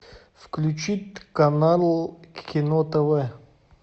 включить канал кино тв